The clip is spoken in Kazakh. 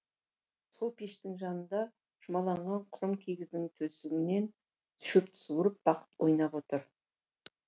сол пештің жанында жұлмаланған құрым киіздің тесігінен шөпті суырып бақыт ойнап отыр